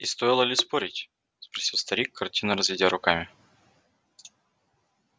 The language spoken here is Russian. и стоило ли спорить спросил старик картинно разведя руками